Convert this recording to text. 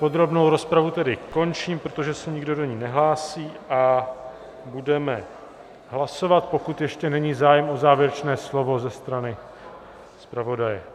Podrobnou rozpravu tedy končím, protože se nikdo do ní nehlásí, a budeme hlasovat, pokud ještě není zájem o závěrečné slovo ze strany zpravodaje.